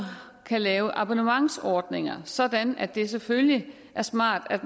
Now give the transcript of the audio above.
kan lave abonnementsordninger sådan at det selvfølgelig er smart at